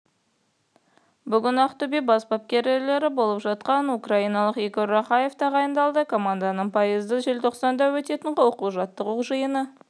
бүгін ақтөбе бас бапкері болып жастағы украиналық игорь рахаев тағайындалды команданың пайызы желтоқсанда өтетін оқу-жаттығу жиыны